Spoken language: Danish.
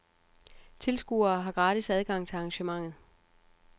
Tilskuere har gratis adgang til arrangementet.